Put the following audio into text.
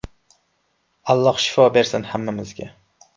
Alloh shifo bersin hammamizga.